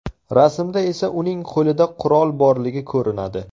Rasmda esa uning qo‘lida qurol borligi ko‘rinadi.